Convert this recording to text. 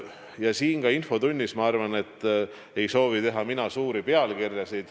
Ka mina ei soovi siin infotunnis teha suuri pealkirju.